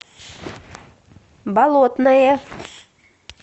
болотное